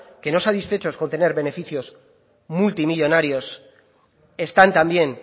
que no satisfechos con tener beneficios multimillónarios están también